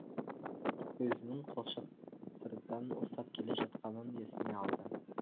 өзінің қолшатырдан ұстап келе жатқанын есіне алды